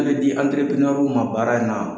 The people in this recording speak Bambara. Min bɛ di ma baara in na.